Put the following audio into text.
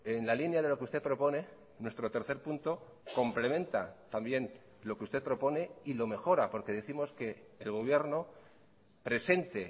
en la línea de lo que usted propone nuestro tercer punto complementa también lo que usted propone y lo mejora porque décimos que el gobierno presente